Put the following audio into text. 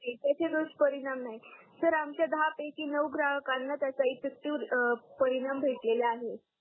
एकाचे दुष्परिणाम नाही सर आमच्या दहा पैकी नऊ ग्राहकांना त्याचा इफेक्टिव्ह परिणाम भेटलेला आहे